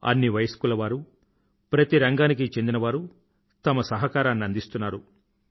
అన్ని వయస్కుల వారూ ప్రతి రంగానికీ చెందిన వారూ తమ సహకారాన్ని అందిస్తున్నారు